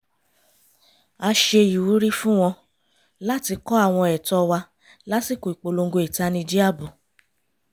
a ṣe ìwúrí fún wọn láti kọ́ àwọn ẹ̀tọ́ wa lásikò ìpolongo ìtanijí ààbò